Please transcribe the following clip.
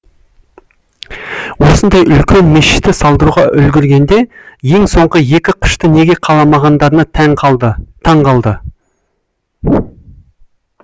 осындай үлкен мешітті салдыруға үлгіргенде ең соңғы екі қышты неге қаламағандарына таң қалды